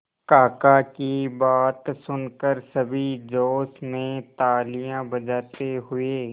काका की बात सुनकर सभी जोश में तालियां बजाते हुए